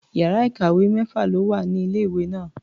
Iyàrá ìkàwé mẹ́fà ló wà ní ilé-ìwé náà.